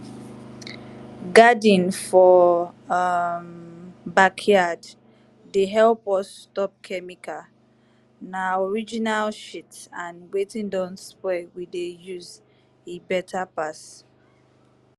garden for um backyard dey help us stop chemical. na original shit and wetin don spoil we dey use e better pass.